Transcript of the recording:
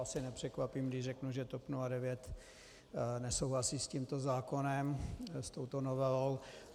Asi nepřekvapím, když řeknu, že TOP 09 nesouhlasí s tímto zákonem, s touto novelou.